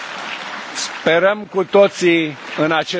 Sperăm cu toții acest lucru.